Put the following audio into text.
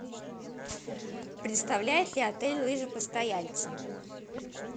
предоставляет ли отель лыжи постояльцам